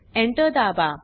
Enter दाबा